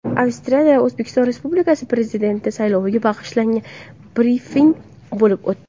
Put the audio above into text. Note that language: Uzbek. Avstriyada O‘zbekiston Respublikasi Prezidenti sayloviga bag‘ishlangan brifing bo‘lib o‘tdi.